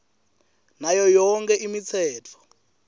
nayo yonkhe imitsetfo